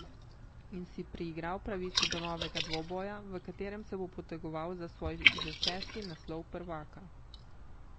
In si priigral pravico do novega dvoboja, v katerem se bo potegoval za svoj že šesti naslov prvaka.